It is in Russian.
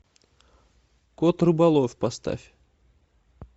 кот рыболов поставь